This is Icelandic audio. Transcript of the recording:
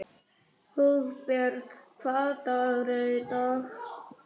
Hugbjörg, hvaða dagur er í dag?